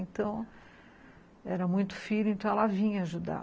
Então, era muito filho, então ela vinha ajudar.